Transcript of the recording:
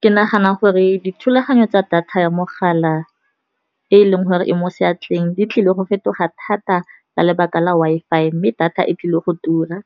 Ke nagana gore dithulaganyo tsa data ya mogala e leng gore e mo seatleng, di tlile go fetoga thata ka lebaka la Wi-Fi. Mme data e tlile go tura,